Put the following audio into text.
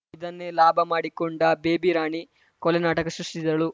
ಇದನ್ನೇ ಲಾಭ ಮಾಡಿಕೊಂಡ ಬೇಬಿ ರಾಣಿ ಕೊಲೆ ನಾಟಕ ಸೃಷ್ಟಿಸಿದ್ದಳು